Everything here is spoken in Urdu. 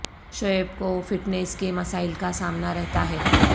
شعیب کو فٹنس کے مسائل کا سامنا رہتا ہے